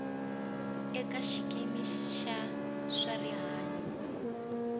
eka xikimi xa swa rihanyo